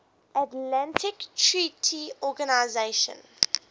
atlantic treaty organisation